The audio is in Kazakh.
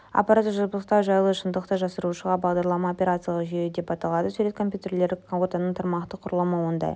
аппараттық жабдықтау жайлы шындықты жасырушы бағдарлама операциялық жүйе деп аталады сурет компьютерлік ортаның тармақтық құрылымы ондай